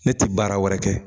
Ne ti baara wɛrɛ kɛ.